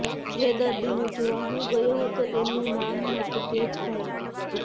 જે દર્દીને જોવા હું ગયો હતો એમનું નામ હતુ તેજભાઈ